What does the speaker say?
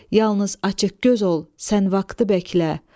Yalnız açıq göz ol, sən vaxtı bəklə.